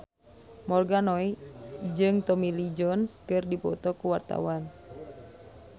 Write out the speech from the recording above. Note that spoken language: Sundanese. Morgan Oey jeung Tommy Lee Jones keur dipoto ku wartawan